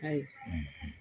a ye